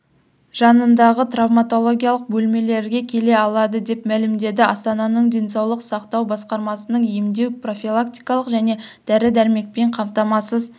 жанындағы травматологиялық бөлмелерге келе алады деп мәлімдеді астананың денсаулық сақтау басқармасының емдеу-профилактикалық және дәрі-дәрмекпен қамтамасыз